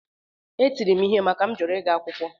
Etiri m ihe maka na a jụrụ m ịga akwụkwọ